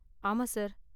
ஆமா, சார்.